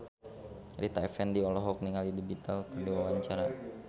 Rita Effendy olohok ningali The Beatles keur diwawancara